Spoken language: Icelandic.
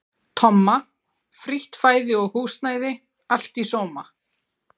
Tomma, frítt fæði og húsnæði, allt í sóma.